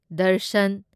Darshan